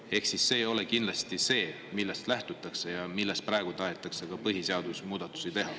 See temaatika ei ole kindlasti see, millest lähtutakse ja mille tõttu praegu tahetakse ka põhiseaduses muudatusi teha.